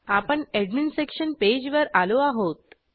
आपण admin section page वर आलो आहोत